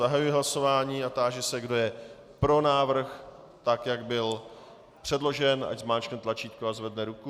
Zahajuji hlasování a táži se, kdo je pro návrh, tak jak byl předložen, ať zmáčkne tlačítko a zvedne ruku.